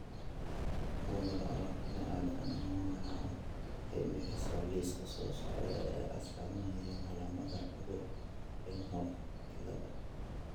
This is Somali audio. Bugaa aragtida aDdanaha waxay bixisaa liiska soo socda ee astamaha iyo calaamadaha cudurka Rienhoff ciladha